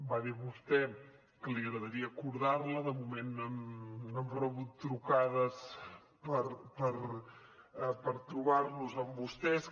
va dir vostè que li agradaria acordar la de moment no hem rebut trucades per trobar nos amb vostès